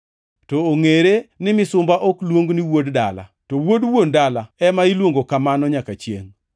To ongʼere ni misumba ok luong ni wuod dala, to wuod wuon dala ema iluongo kamano nyaka chiengʼ.